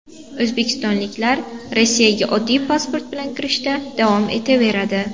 O‘zbekistonliklar Rossiyaga oddiy pasport bilan kirishda davom etaveradi.